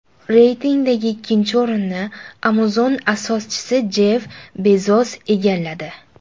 Reytingdagi ikkinchi o‘rinni Amazon asoschisi Jeff Bezos egalladi.